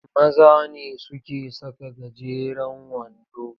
Maza ne suke saka gajeren wando.